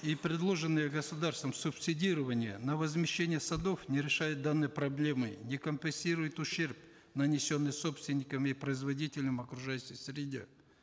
и предложенное государством субсидирование на возмещение садов не решает данные проблемы не компенсирует ущерб нанесенный собственникам и производителям окружающей среде